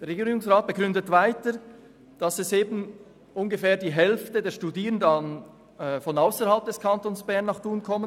Der Regierungsrat argumentiert weiter, dass ungefähr die Hälfte der Studierenden von ausserhalb des Kantons Bern nach Thun kämen.